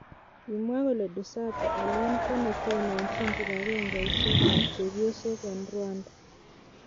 Kimwa kole Dusabe Aliane ko netononjin kibangengeisiek ab chepyosok en emet ab Rwanda.